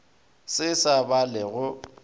se sa ba le go